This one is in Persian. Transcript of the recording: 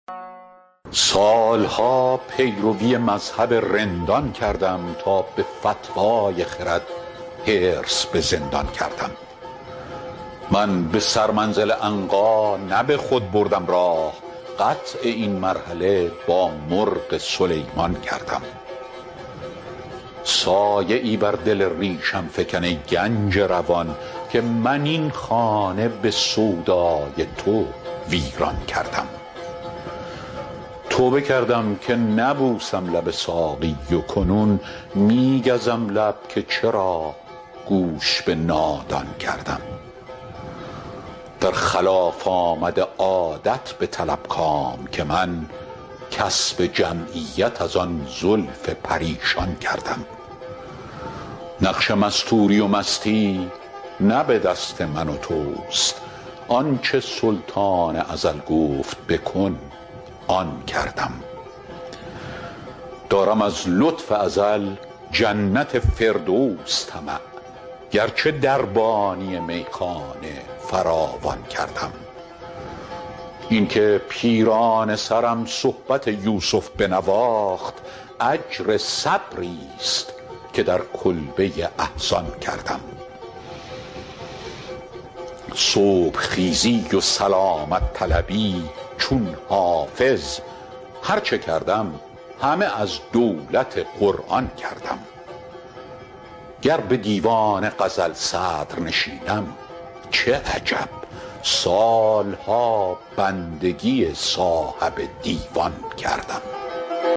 سال ها پیروی مذهب رندان کردم تا به فتوی خرد حرص به زندان کردم من به سرمنزل عنقا نه به خود بردم راه قطع این مرحله با مرغ سلیمان کردم سایه ای بر دل ریشم فکن ای گنج روان که من این خانه به سودای تو ویران کردم توبه کردم که نبوسم لب ساقی و کنون می گزم لب که چرا گوش به نادان کردم در خلاف آمد عادت بطلب کام که من کسب جمعیت از آن زلف پریشان کردم نقش مستوری و مستی نه به دست من و توست آن چه سلطان ازل گفت بکن آن کردم دارم از لطف ازل جنت فردوس طمع گرچه دربانی میخانه فراوان کردم این که پیرانه سرم صحبت یوسف بنواخت اجر صبریست که در کلبه احزان کردم صبح خیزی و سلامت طلبی چون حافظ هر چه کردم همه از دولت قرآن کردم گر به دیوان غزل صدرنشینم چه عجب سال ها بندگی صاحب دیوان کردم